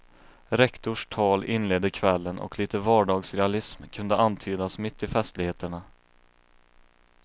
Rektors tal inledde kvällen och lite vardagsrealism kunde antydas mitt i festligheterna.